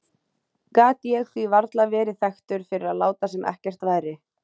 Gat ég því varla verið þekktur fyrir að láta sem ekkert væri.